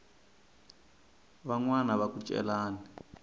van wana va ku celani